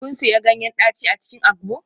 Kun sanya ganyen daci a cikin agbo?